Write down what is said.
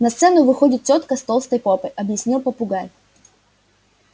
на сцену выходит тётка с толстой попой объяснил попугай